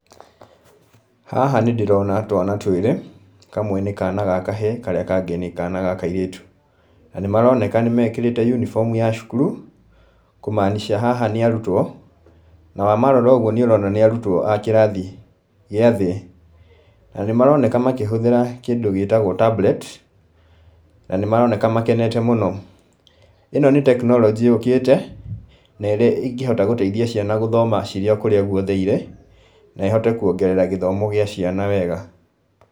Haha nĩ ndĩrona twana twĩrĩ, kamwe nĩ kana ga kahĩĩ karĩa kangĩ nĩ kana ga kairĩtũ, na nĩ maroneka nĩ mekĩrĩte uniform ya cukuru, kũ maanisha haha nĩ arutwo, na wamarora ũguo nĩ ũrona nĩ arutwo a kĩrathi gĩa thĩ, na nĩ maroneka makĩhũthĩra kĩndũ gĩtagwo tablet, na nĩ maroneka makenete mũno, ĩno nĩ tekinoronjĩ yũkĩte, na ĩrĩa ĩngĩhota gũteithia ciana gũthoma cirĩ o kũrĩa guothe irĩ, na ĩhote kuongerera gĩthomo gĩa ciana wega.